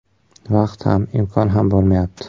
Vaqt ham, imkon ham bo‘lmayapti.